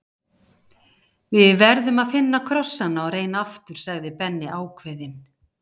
Við verðum að finna krossana og reyna aftur sagði Benni ákveðinn.